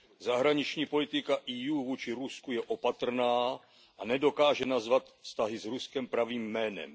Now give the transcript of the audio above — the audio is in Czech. Zahraniční politika EU vůči Rusku je opatrná a nedokáže nazvat vztahy s Ruskem pravým jménem.